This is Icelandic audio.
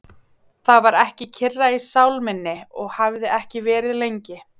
Það var ekki kyrra í sál minni og hafði ekki verið lengi.